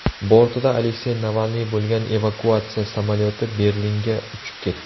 Bortida Aleksey Navalniy bo‘lgan evakuatsiya samolyoti Berlinga uchib ketdi.